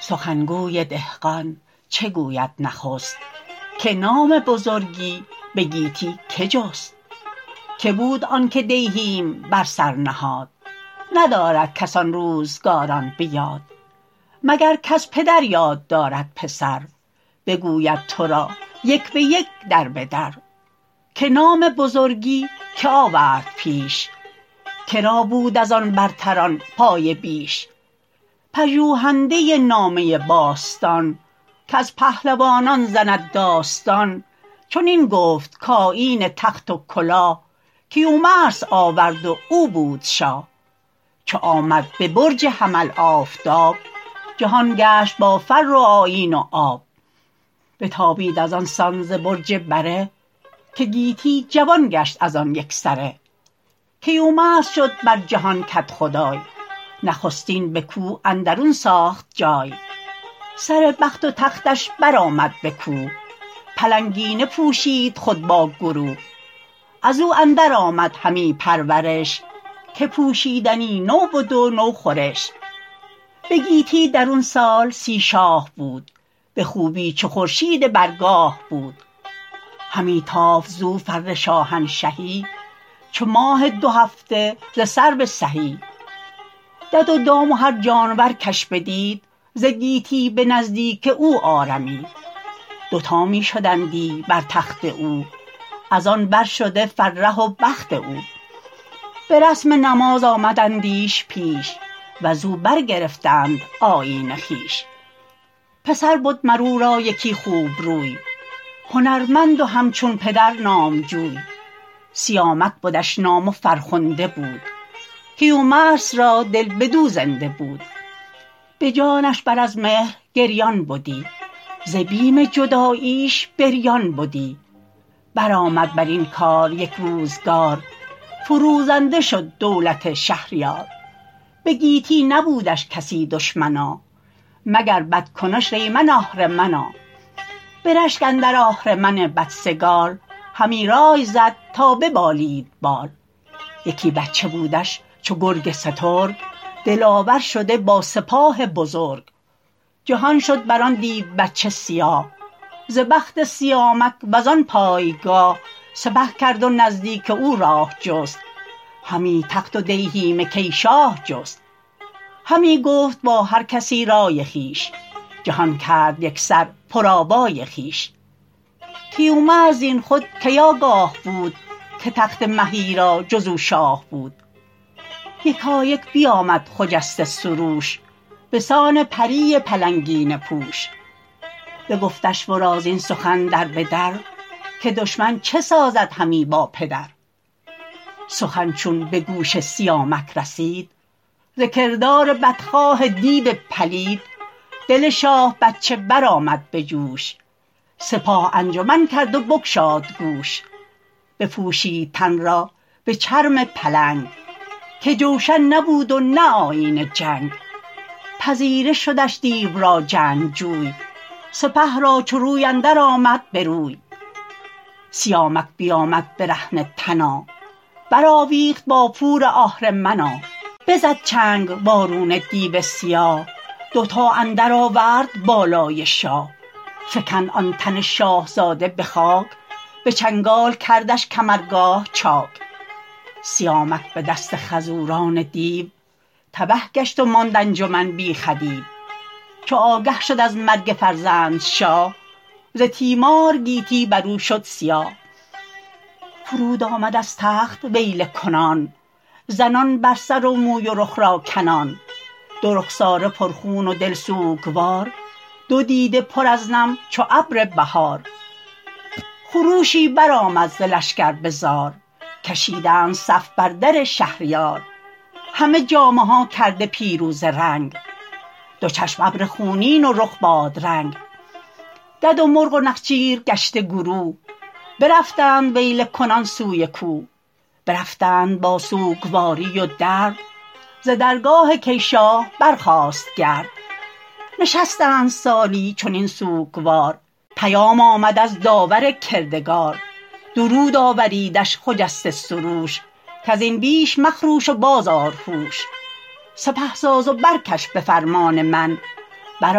سخن گوی دهقان چه گوید نخست که نام بزرگی به گیتی که جست که بود آن که دیهیم بر سر نهاد ندارد کس آن روزگاران به یاد مگر کز پدر یاد دارد پسر بگوید تو را یک به یک در به در که نام بزرگی که آورد پیش که را بود از آن برتران پایه بیش پژوهنده نامه باستان که از پهلوانان زند داستان چنین گفت کآیین تخت و کلاه کیومرث آورد و او بود شاه چو آمد به برج حمل آفتاب جهان گشت با فر و آیین و آب بتابید از آن سان ز برج بره که گیتی جوان گشت از آن یک سره کیومرث شد بر جهان کدخدای نخستین به کوه اندرون ساخت جای سر بخت و تختش بر آمد به کوه پلنگینه پوشید خود با گروه از او اندر آمد همی پرورش که پوشیدنی نو بد و نو خورش به گیتی درون سال سی شاه بود به خوبی چو خورشید بر گاه بود همی تافت زو فر شاهنشهی چو ماه دو هفته ز سرو سهی دد و دام و هر جانور کش بدید ز گیتی به نزدیک او آرمید دوتا می شدندی بر تخت او از آن بر شده فره و بخت او به رسم نماز آمدندیش پیش و ز او برگرفتند آیین خویش پسر بد مر او را یکی خوب روی هنرمند و همچون پدر نامجوی سیامک بدش نام و فرخنده بود کیومرث را دل بدو زنده بود به جانش بر از مهر گریان بدی ز بیم جداییش بریان بدی بر آمد بر این کار یک روزگار فروزنده شد دولت شهریار به گیتی نبودش کسی دشمنا مگر بدکنش ریمن آهرمنا به رشک اندر آهرمن بدسگال همی رای زد تا ببالید بال یکی بچه بودش چو گرگ سترگ دلاور شده با سپاه بزرگ جهان شد بر آن دیو بچه سیاه ز بخت سیامک و زان پایگاه سپه کرد و نزدیک او راه جست همی تخت و دیهیم کی شاه جست همی گفت با هر کسی رای خویش جهان کرد یک سر پر آوای خویش کیومرث زین خود کی آگاه بود که تخت مهی را جز او شاه بود یکایک بیامد خجسته سروش به سان پری پلنگینه پوش بگفتش ورا زین سخن در به در که دشمن چه سازد همی با پدر سخن چون به گوش سیامک رسید ز کردار بدخواه دیو پلید دل شاه بچه بر آمد به جوش سپاه انجمن کرد و بگشاد گوش بپوشید تن را به چرم پلنگ که جوشن نبود و نه آیین جنگ پذیره شدش دیو را جنگجوی سپه را چو روی اندر آمد به روی سیامک بیامد برهنه تنا بر آویخت با پور آهرمنا بزد چنگ وارونه دیو سیاه دوتا اندر آورد بالای شاه فکند آن تن شاهزاده به خاک به چنگال کردش کمرگاه چاک سیامک به دست خروزان دیو تبه گشت و ماند انجمن بی خدیو چو آگه شد از مرگ فرزند شاه ز تیمار گیتی بر او شد سیاه فرود آمد از تخت ویله کنان زنان بر سر و موی و رخ را کنان دو رخساره پر خون و دل سوگوار دو دیده پر از نم چو ابر بهار خروشی بر آمد ز لشکر به زار کشیدند صف بر در شهریار همه جامه ها کرده پیروزه رنگ دو چشم ابر خونین و رخ بادرنگ دد و مرغ و نخچیر گشته گروه برفتند ویله کنان سوی کوه برفتند با سوگواری و درد ز درگاه کی شاه برخاست گرد نشستند سالی چنین سوگوار پیام آمد از داور کردگار درود آوریدش خجسته سروش کز این بیش مخروش و باز آر هوش سپه ساز و برکش به فرمان من بر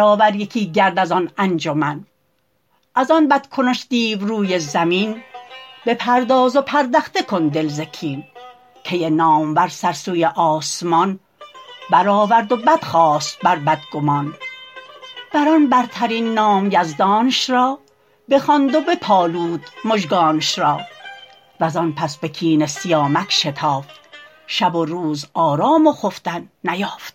آور یکی گرد از آن انجمن از آن بد کنش دیو روی زمین بپرداز و پردخته کن دل ز کین کی نامور سر سوی آسمان بر آورد و بدخواست بر بدگمان بر آن برترین نام یزدانش را بخواند و بپالود مژگانش را و زان پس به کین سیامک شتافت شب و روز آرام و خفتن نیافت